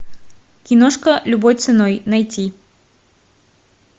киношка любой ценой найти